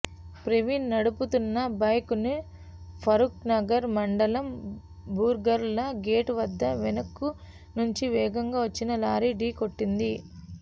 ప్రవీణ్ నడుపుతున్న బైక్ను ఫరూక్నగర్ మండలం బూర్గుల గేటు వద్ద వెనుక నుంచి వేగంగా వచ్చిన లారీ ఢీకొట్టింది